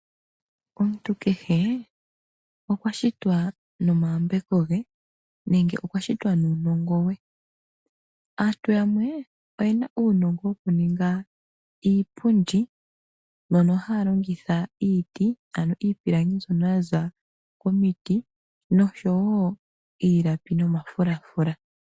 Omuntu kehe okwa shitwa nomayambeko ge nenge nuunongo we noshowo shipewa she. Aantu yamwe oye na uunongo wokuninga iipundi okuza miipilangi mbyoka ya za komti, iilapi nomafulafula.